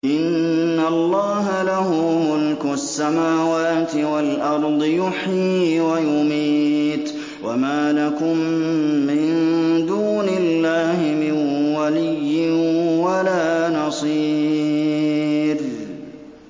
إِنَّ اللَّهَ لَهُ مُلْكُ السَّمَاوَاتِ وَالْأَرْضِ ۖ يُحْيِي وَيُمِيتُ ۚ وَمَا لَكُم مِّن دُونِ اللَّهِ مِن وَلِيٍّ وَلَا نَصِيرٍ